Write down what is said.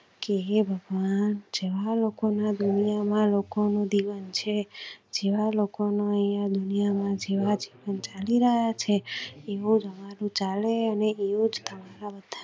કે હે ભગવાન જેવા લોકો ના દુનિયા માં લોકો નો જીવન છે. લોકો નો યા દુનિયા માં જીવન ગુજારી રહ્યા છે. ચાલે